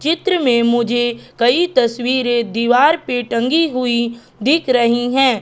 चित्र में मुझे कई तस्वीरें दीवार पे टंगी हुई दिख रही हैं।